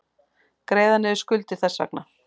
Greiða niður skuldir þess vegna.